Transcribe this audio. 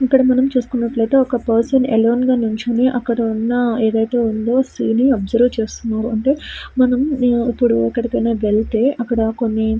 ఇక్కడ మనం చుస్తునాటు అయతె ఒక పర్సన్ అలొనె గ నిలుచొని అక్కడ ఏది అయతె ఉండూ సీన్ అబ్సొర్బ్ చేస్తున్నారు అంటే మనం ఎక్కడికి ఆయన వేల్ల్తే అక్కడ కొన్ని --